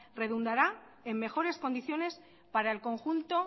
redundará en mejores condiciones para el conjunto